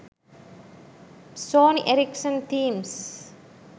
sony erricson themes